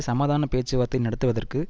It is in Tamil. சமாதான பேச்சுவார்த்தை நடத்துவதற்கு